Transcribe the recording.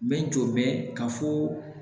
N bɛ jɔ bɛ ka fɔ